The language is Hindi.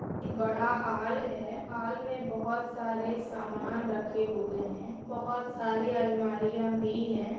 बड़ा हॉल है हॉल में बहुत सारे सामान रखे हुए हैं बहुत सारी अलमारियां भी है बड़ा हॉल है हॉल में बहुत सारे सामान रखे हुए हैं बहुत सारी अलमारियां भी है।